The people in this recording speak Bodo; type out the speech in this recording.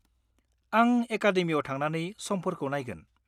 -आं एकादेमियाव थांनानै समफोरखौ नायगोन।